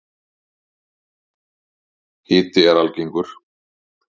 Hiti er algengur.